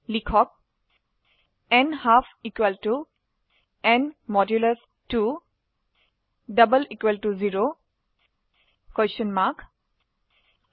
লিখক ন্হাল্ফ n 2 0